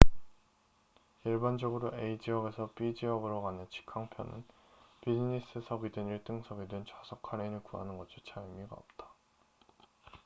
일반적으로 a 지역에서 b 지역으로 가는 직항 편은 비즈니스석이든 일등석이든 좌석 할인을 구하는 것조차 의미가 없다